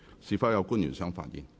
是否有官員想發言？